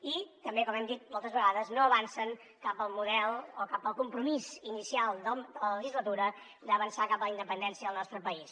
i tampoc com hem dit moltes vegades no avancen cap al compromís inicial de la legislatura d’avançar cap a la independència del nostre país